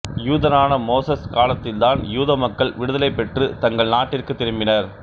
யூதரான Moses காலத்தில்தான் யூதமக்கள் விடுதலை பெற்று தங்கள் நாட்டிற்கு திரும்பினர்